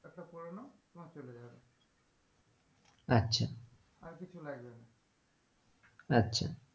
আচ্ছা আর কিছু লাগবে না আচ্ছা।